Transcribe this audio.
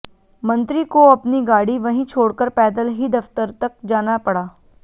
मंत्री को अपनी गाड़ी वहीं छोड़कर पैदल ही दफ्तर तक जाना पड़ा